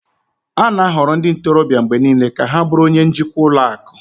a na-ahọrọ ndị ntorobịa mgbe niile ka ha bụrụ onye njikwa ụlọ akụ